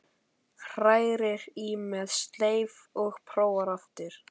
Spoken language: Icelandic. Hrærir í með sleif og prófar aftur.